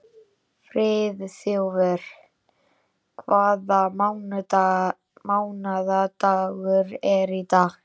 Friðþjófur, hvaða mánaðardagur er í dag?